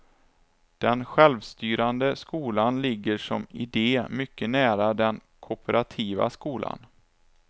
Den självstyrande skolan ligger som idé mycket nära den kooperativa skolan.